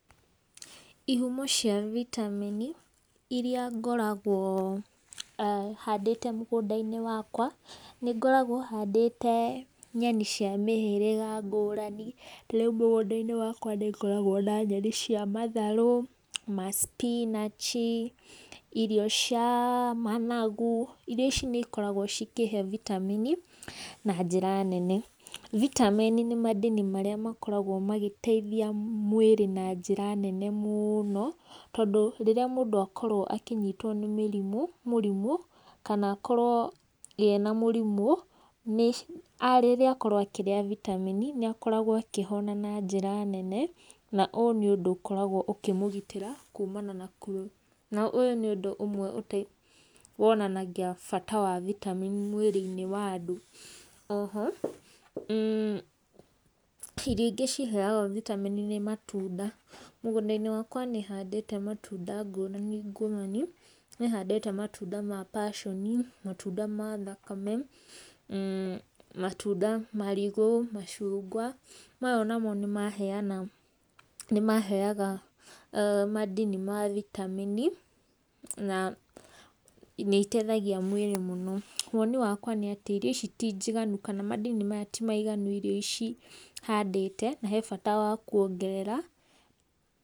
Ihumo cia vitamin iria ngoragwo handĩte mũgũndainĩ wakwa, nĩngoragwo handĩte nyeni cĩa mĩhĩrĩga ngũrani, ta rĩu mũgunda-inĩ wakwa nĩngoragwo na nyeni cĩa matharũ, ma spinach, irio cĩa managu, irio ici nĩ ikoragwo cikĩhe vitamin na njĩra nene. vitamin nĩ madini marĩa makoragwo magĩteithia mwĩrĩ na njĩra nene mũũno, tondũ rĩrĩa mũndũ akorwo akĩnyitwo nĩ mĩrimũ mũrimũ, kana akorwo ena mũrimũ, rĩrĩa akorwo akĩrĩa vitamin nĩ akoragwo akĩhona na njĩra nene, na ũyũ nĩ ũndũ ũkoragwo ũkĩmũgitĩra kumana na . Na ũyũ nĩ ũndũ ũmwe wonanagia bata wa vitamin mwĩrĩ-inĩ wa andũ. Oho, mmh, irio ingĩ ciheaga vitameni nĩ matunda. Mũgũnda-inĩ wakwa ni handĩte matunda ngũrani ngũrani, nĩ handĩte matunda ma Passion, matunda ma thakame, matunda, marigu, macungwa, maya onamo nĩ maheana, nĩ maheaga madini ma vitamin na nĩiteithagia mwĩrĩ mũno. Woni wakwa nĩ atĩ irio ici ti njiganu kana madini maya ti maiganu irio ici handĩte na he bata wa kuongerera.